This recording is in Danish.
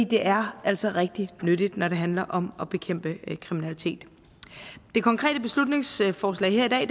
de er altså rigtig nyttige når det handler om at bekæmpe kriminalitet det konkrete beslutningsforslag her i dag